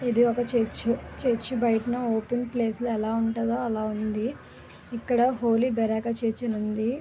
ఇది ఒక చేర్చి. చేర్చి బయట ఓపెన్ ప్లేస్ లో ఎలా ఉంటుందో అలా ఉంది ఇక్కడ హోలీ బరాక చేర్చండి